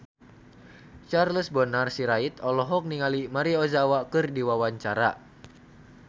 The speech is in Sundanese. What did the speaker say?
Charles Bonar Sirait olohok ningali Maria Ozawa keur diwawancara